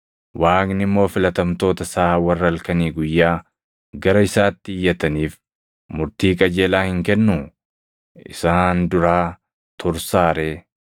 Waaqni immoo filatamtoota isaa warra halkanii guyyaa gara isaatti iyyataniif murtii qajeelaa hin kennuu? Isaan duraa tursaa ree?